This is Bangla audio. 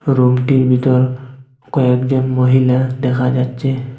রুমটির ভিতর কয়েকজন মহিলা দেখা যাচ্ছে।